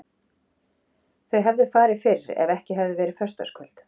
Þau hefðu farið fyrr ef ekki hefði verið föstudagskvöld.